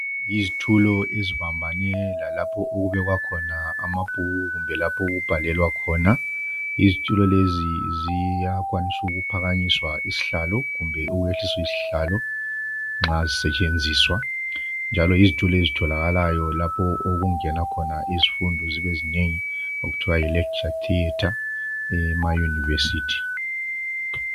Izitulo ezibambane lalapho okubekwa khona amabhuku kumbe lapho okubhalelwa khona . Izitulo lezi ziyakwanisa ukuphakanyiswa izihlalo kumbe ukwehliswa izihlalo nxa zisetshenziswa .Njalo izitulo lezi zitholakala lapho okungenwa khona izifundo zibe zinengi okuthiwa Yi lecture theatre emauniversity.